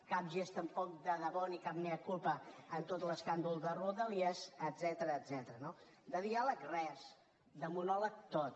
cap gest tampoc de debò ni cap mea culpa en tot l’escàndol de rodalies etcètera no de diàleg res de monòleg tot